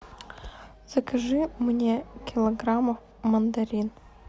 закажи мне килограмм мандарин